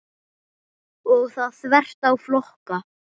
Og það þvert á flokka.